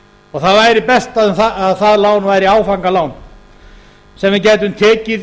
og það væri best að það lán væri áfangalán sem við gætum tekið